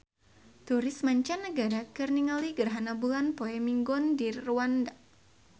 Turis mancanagara keur ningali gerhana bulan poe Minggon di Rwanda